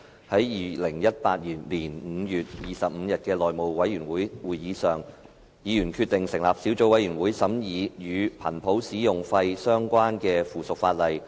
在2018年5月25日的內務委員會會議上，議員決定成立一個小組委員會，以審議與頻譜使用費相關的附屬法例。